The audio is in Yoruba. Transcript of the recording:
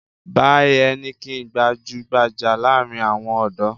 Báì Heineken gbajú-gbajà láàárin àwọn ọ̀dọ́.